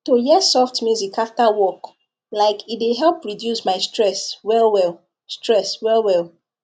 to hear soft music after work like e dey help reduce my stress well well stress well well